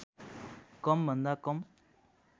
कम भन्दा कम